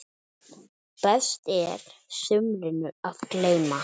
Best er sumrinu að gleyma.